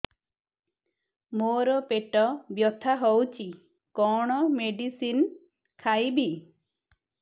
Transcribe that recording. ମୋର ପେଟ ବ୍ୟଥା ହଉଚି କଣ ମେଡିସିନ ଖାଇବି